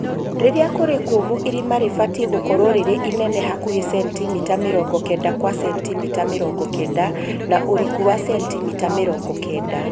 Rĩrĩa kũrĩ kũũmũ irima rĩbatiĩ gũkorwo rĩrĩ inene hakuhĩ centimita mĩrongo kenda kwa centimita mĩrongo kenda na ũriku wa centimita mĩrongo kenda